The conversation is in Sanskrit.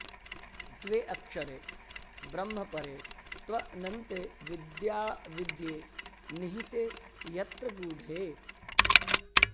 द्वे अक्षरे ब्रह्मपरे त्वनन्ते विद्याविद्ये निहिते यत्र गूढे